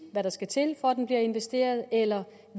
hvad der skal til for at den bliver investeret eller